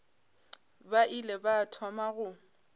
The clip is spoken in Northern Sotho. ba ile ba thoma go